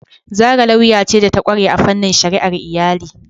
Zara lauya ce da ta kware a fannin shari'ar iyali.